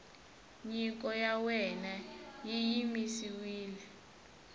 nyiko ya wena yi yimisiwile